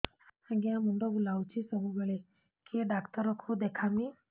ଆଜ୍ଞା ମୁଣ୍ଡ ବୁଲାଉଛି ସବୁବେଳେ କେ ଡାକ୍ତର କୁ ଦେଖାମି